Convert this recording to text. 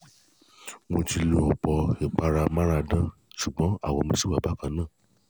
mo ti lo ọ̀pọ̀ ìpara amáradán ̀ṣùgbọ́n àwọ̀ mi ṣì wà bákan náà